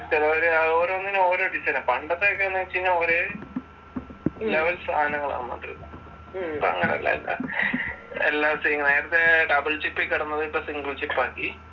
ചിലവര് ഓരോന്നിനും ഓരോ ഡിസൈനാ. പണ്ടത്തെ ഒക്കെ വെച്ചുകഴിഞ്ഞാൽ ഒരേ ലെവൽ സാധനങ്ങൾ ആണ്. ഇപ്പോൾ അങ്ങനല്ല എല്ലാം . നേരത്തെ ഡബിൾ ചിപ്പിൽ കിടന്നത് ഇപ്പോൾ സിംഗിൾ ചിപ്പ് ആക്കി.